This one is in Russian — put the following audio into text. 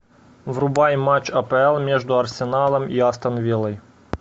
врубай матч апл между арсеналом и астон виллой